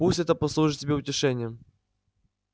пусть это послужит тебе утешением